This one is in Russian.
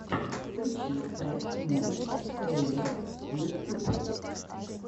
включи фрэш муви трейлерс ютьюб